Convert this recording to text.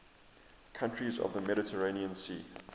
countries of the mediterranean sea